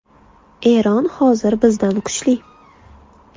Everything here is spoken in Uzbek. Eron hozir bizdan kuchli” .